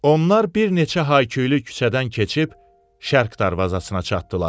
Onlar bir neçə hayküylü küçədən keçib Şərq darvazasına çatdılar.